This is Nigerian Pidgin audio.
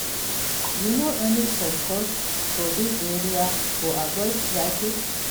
You know any shortcut for dis area to avoid traffic?